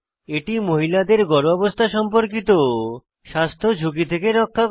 এটি মহিলাদের গর্ভাবস্থা সম্পর্কিত স্বাস্থ্য ঝুঁকি থেকে রক্ষা করে